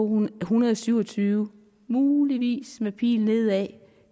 hundrede og syv og tyve muligvis med pil nedad